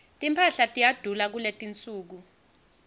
timphahla tiyadula kuletinsuku